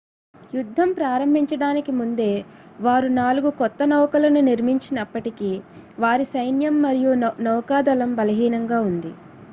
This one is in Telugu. యుద్ధం ప్రారంభించడానికి ముందే వారు నాలుగు కొత్త నౌకలను నిర్మించినప్పటికీ వారి సైన్యం మరియు నౌకాదళం బలహీనంగా ఉంది